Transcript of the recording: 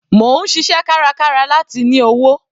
Mò ń ṣiṣẹ́ kárakára láti ní owó.